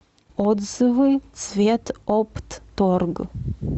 отзывы цветоптторг